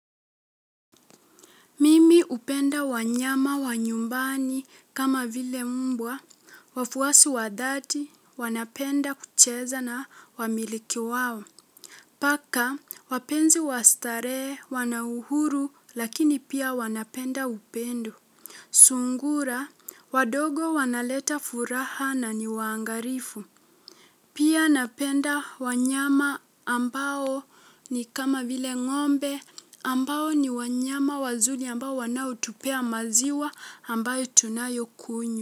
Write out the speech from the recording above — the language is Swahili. Mimi hupenda wanyama wa nyumbani kama vile mbwa, wafuasi wa dhati, wanapenda kucheza na wamiliki wao. Paka, wapenzi wastarehe, wana uhuru, lakini pia wanapenda upendo. Sungura, wadogo wanaleta furaha na ni waangalifu. Pia napenda wanyama ambao ni kama vile ng'ombe ambao ni wanyama wazuri ambao wanaotupea maziwa ambayo tunayokunywa.